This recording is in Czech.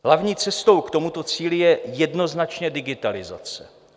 Hlavní cestou k tomuto cíli je jednoznačně digitalizace.